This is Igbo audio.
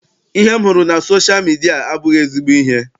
Ihe m hụrụ na sosha midia abụghị ezigbo ihe.